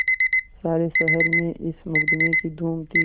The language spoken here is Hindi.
सारे शहर में इस मुकदमें की धूम थी